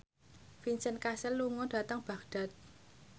Vincent Cassel lunga dhateng Baghdad